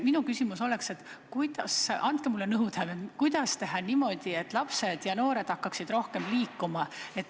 Minu küsimus on selline, et andke palun nõu, kuidas teha niimoodi, et lapsed ja noored hakkaksid rohkem liikuma.